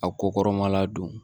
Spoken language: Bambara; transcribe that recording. A ko kɔrɔmala don